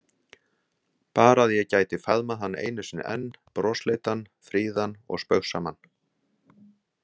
Bara að ég gæti faðmað hann einu sinni enn, brosleitan, fríðan og spaugsaman.